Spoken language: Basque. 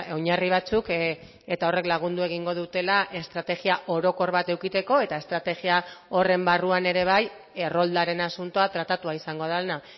oinarri batzuk eta horrek lagundu egingo dutela estrategia orokor bat edukitzeko eta estrategia horren barruan ere bai erroldaren asuntoa tratatua izango dena